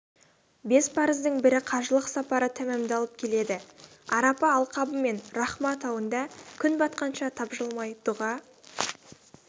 бес парыздың бірі қажылық сапары тәмамдалып келеді арапа алқабы мен рахма тауында күн батқанша тапжылмай дұға